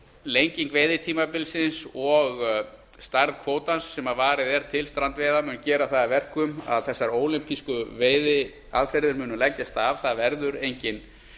lenging veiðitímabilsins og stærð kvótans sem varið er til strandveiðanna mun gera það að verkum að þessar ólympísku veiðiaðferðir munu leggjast af það verður enginn